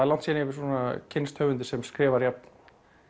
langt síðan ég hef kynnst höfundi sem skrifar jafn